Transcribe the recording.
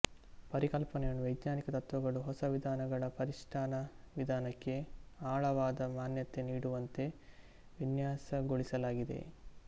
ಪರಿಕಲ್ಪನೆಗಳು ವೈಜ್ಞಾನಿಕ ತತ್ವಗಳು ಹೊಸ ವಿಧಾನಗಳ ಅನುಷ್ಠಾನ ವಿಧಾನಕ್ಕೆ ಆಳವಾದ ಮಾನ್ಯತೆ ನೀಡುವಂತೆ ವಿನ್ಯಾಸಗೊಳಿಸಲಾಗಿದೆ